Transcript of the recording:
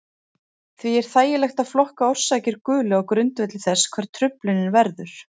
Því er þægilegt að flokka orsakir gulu á grundvelli þess hvar truflunin verður.